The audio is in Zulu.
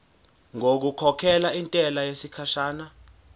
ngokukhokhela intela yesikhashana